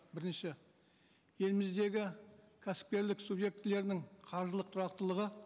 бірінші еліміздегі кәсіпкерлік субъектілерінің қаржылық тұрақтылығы